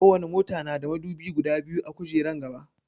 Ko wani mota na da madubi guda biyu a gujeran gaba